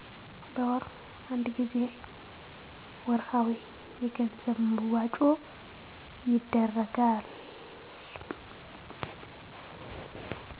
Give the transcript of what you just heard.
በወር አንድ ጊዜ ወርሀዊ የገንዘብ መዋጮ ይደረጋል